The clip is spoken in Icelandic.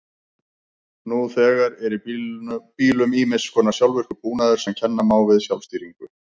Nú þegar er í bílum ýmiss konar sjálfvirkur búnaður sem kenna má við sjálfstýringu.